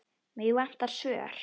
Mig vantar svör.